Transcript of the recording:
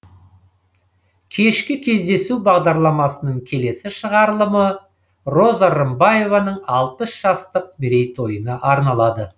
кешкі кездесу бағдарламасының келесі шығарылымы роза рымбаеваның алпыс жастық мерейтойына арналады